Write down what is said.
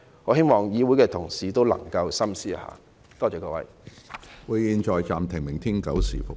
我希望議會的同事能夠深思一下，多謝各位。